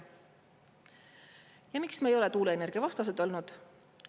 Ja miks me ei ole tuuleenergia vastased olnud?